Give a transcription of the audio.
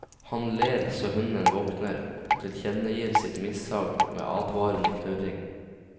Han ler så hunden våkner og tilkjennegir sitt mishag med advarende knurring.